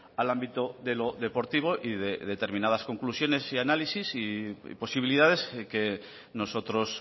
al ámbito de lo deportivo y de determinadas conclusiones y análisis y posibilidades que nosotros